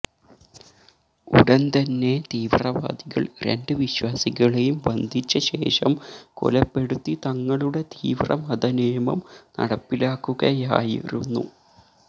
ഉടന്തന്നെ തീവ്രവാദികള് രണ്ടു വിശ്വാസികളെയും ബന്ധിച്ചശേഷം കൊലപ്പെടുത്തി തങ്ങളുടെ തീവ്ര മതനിയമം നടപ്പിലാക്കുകയായിരുന്നു